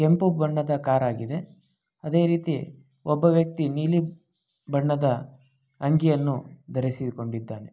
ಕೆಂಪು ಬಣ್ಣದ ಕಾರು ಆಗಿದೆ. ಅದೇ ರೀತಿ ಒಬ್ಬ ವ್ಯಕ್ತಿ ನೀಲಿ ಬಣ್ಣದ ಅಂಗಿಯನ್ನು ಧರಿಸಿಕೊಂಡಿದ್ದಾನೆ.